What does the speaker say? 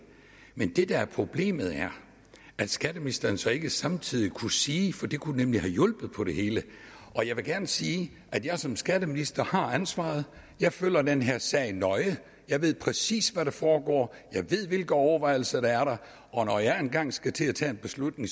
men det der er problemet er at skatteministeren så ikke samtidig kunne sige for det kunne nemlig have hjulpet på det hele jeg vil gerne sige at jeg som skatteminister har ansvaret jeg følger den her sag nøje jeg ved præcis hvad der foregår jeg ved hvilke overvejelser der er og når jeg engang skal til at tage en beslutning